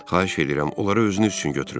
Xahiş edirəm, onları özünüz üçün götürün.